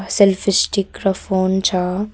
Selfie stick र phone छ।